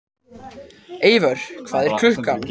Eivör, hvað er klukkan?